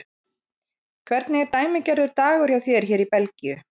Hvernig er dæmigerður dagur hjá þér hér í Belgíu?